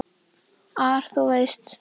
ar, þú veist.